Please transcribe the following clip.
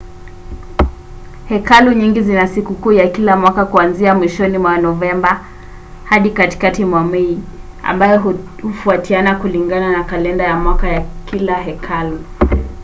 hekalu nyingi zina sikukuu ya kila mwaka kuanzia mwishoni mwa novemba hadi katikati mwa mei ambayo hufautiana kulingana na kalenda ya mwaka ya kila hekalu